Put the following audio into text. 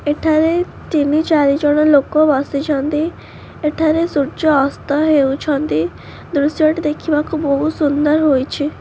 ଏଠା ରେ ତିନି ଚାରି ଜଣ ଲୋକ ବସିଛନ୍ତି ଏଠା ରେ ସୂର୍ଯ୍ୟ ଅସ୍ତ ହେଉଛନ୍ତି ଦୃଶ୍ୟ ଟି ଦେଖିବାକୁ ବହୁତ୍ ସୁନ୍ଦର ହୋଇଛି।